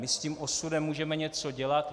My s tím osudem můžeme něco dělat.